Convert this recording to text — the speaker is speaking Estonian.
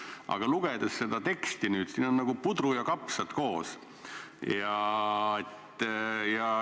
Aga lugedes seda teksti, selgub, et on nagu puder ja kapsad koos.